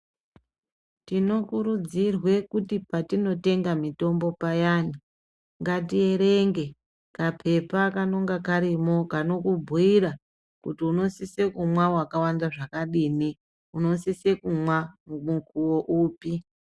Tinokurudzirwe kuti patinotenga mitombo payani, ngatierenge kaphepha kanonga karimo kanokubhuira, kuti unosise kumwa wakawanda zvakadini ,unosise kumwa, mukuwo upi.